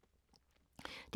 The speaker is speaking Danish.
DR K